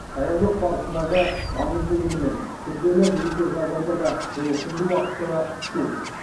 даярлық барысындағы маңызды элемент күрделі метеожағдайда да және түнгі уақытта да ұшу